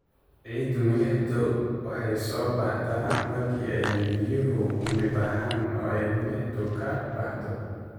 Ciidda milixdu waxay soo baxdaa marka ay biyuhu uumi baxaan, oo ay milixdu ka baxdo.